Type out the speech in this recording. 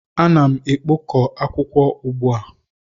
Ana m ekpok ọ akwụkwọ ugbu a.